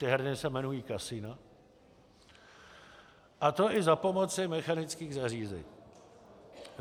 Ty herny se jmenují kasina, a to i za pomoci mechanických zařízení.